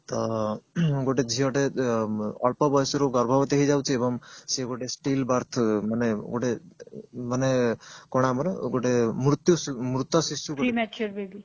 ତ ଗୋଟେ ଝିଅଟେ ଅଳ୍ପ ବଯସରୁ ଗର୍ଭବର୍ତୀ ହେଇଯାଉଛି ଏବଂ ସେ ଗୋଟେ steel birth ମାନେ ଗୋଟେ ମାନେ କଣ ଆମର ଗୋଟେ ମୃତ୍ୟୁ ମୃତ୍ୟ